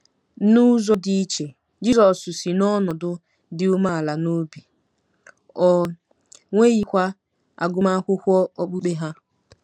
N'ụzọ dị iche, Jizọs si n'ọnọdụ dị umeala n'obi, o nweghịkwa agụmakwụkwọ okpukpe ha.